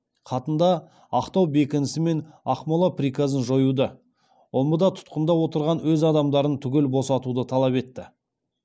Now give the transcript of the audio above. хатында ақтау бекінісі мен ақмола приказын жоюды омбыда тұтқында отырған өз адамдарын түгел босатуды талап етті